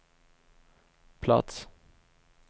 plats